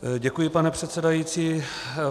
Děkuji, pane předsedající.